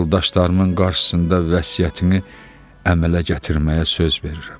yoldaşlarımın qarşısında vəsiyyətini əmələ gətirməyə söz verirəm.